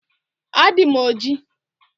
Adị m ojii